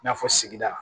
I n'a fɔ sigida